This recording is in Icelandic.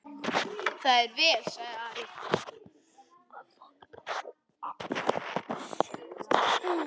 Það er vel, sagði Ari.